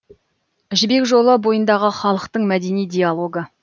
жібек жолы бойындағы халықтың мәдени диалогы